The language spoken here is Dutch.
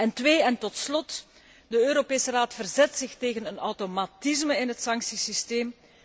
Ten tweede en tot slot de Europese Raad verzet zich tegen een automatisme in het sanctiesysteem.